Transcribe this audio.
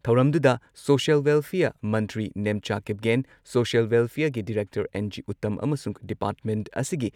ꯊꯧꯔꯝꯗꯨꯗ social welfare ꯃꯟꯇ꯭ꯔꯤ Nemcha Kipgen, social ꯋꯦꯜꯐꯤꯌꯔꯒꯤ ꯗꯤꯔꯦꯛꯇꯔ ꯑꯦꯟ.ꯖꯤ. ꯎꯇꯝ ꯑꯃꯁꯨꯡ ꯗꯤꯄꯥꯔꯠꯃꯦꯟꯠ ꯑꯁꯤꯒꯤ